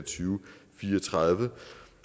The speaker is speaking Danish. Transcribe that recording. fire og tredive